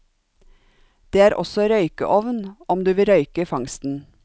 Det er også røykeovn om du vil røyke fangsten.